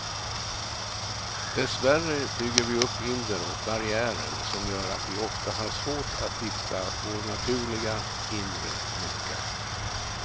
Dessvärre bygger vi upp hinder och barriärer som gör att vi ofta har svårt att hitta vår naturliga, inre lycka.